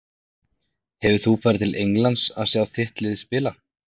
Hefur þú farið út til Englands að sjá þitt lið spila?